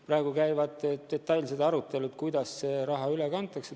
Praegu käivad detailsed arutelud, kuidas see raha üle kantakse.